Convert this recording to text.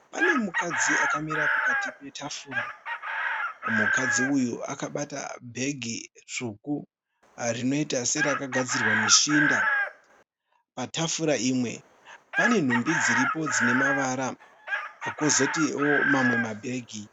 Pane mukadzi akamira pakati petafura. Mukadzi uyu akabata bhegi tsvuku rinoita serakagadzirwa neshinda. Patafura imwe pane nhumbi dziripo dzinamavara kozotiwo mamwe mabhegi.